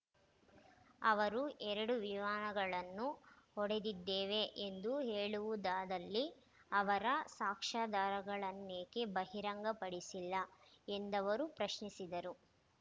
ಅವರು ಎರಡು ವಿಮಾನಗಳನ್ನು ಹೊಡೆದಿದ್ದೇವೆ ಎಂದು ಹೇಳುವುದಾದಲ್ಲಿ ಅವರ ಸಾಕ್ಷ್ಯಾಧಾರಗಳನ್ನೇಕೆ ಬಹಿರಂಗ ಪಡಿಸಿಲ್ಲ ಎಂದವರು ಪ್ರಶ್ನಿಸಿದರು